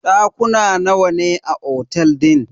Dakuna nawa ne a cikin otel din?